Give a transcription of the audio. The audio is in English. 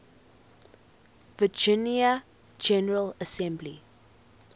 virginia general assembly